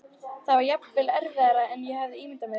Það var jafnvel erfiðara en ég hafði ímyndað mér.